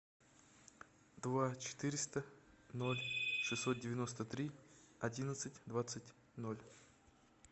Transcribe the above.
два четыреста ноль шестьсот девяносто три одиннадцать двадцать ноль